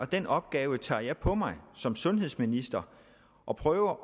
den opgave tager jeg på mig som sundhedsminister og prøver